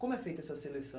Como é feita essa seleção?